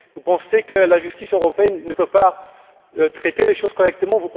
Pensez vous que la justice européenne ne peut pas traiter les choses correctement?